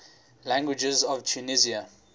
languages of tunisia